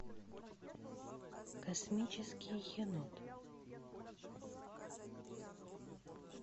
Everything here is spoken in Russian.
космический енот